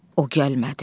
O gəlmədi.